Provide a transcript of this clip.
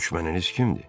Düşməniniz kimdir?